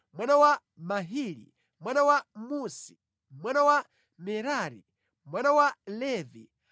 mwana wa Mahili, mwana wa Musi, mwana wa Merari, mwana wa Levi.